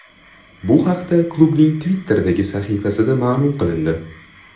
Bu haqda klubning Twitter’dagi sahifasida ma’lum qilindi .